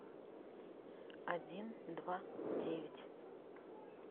один два девять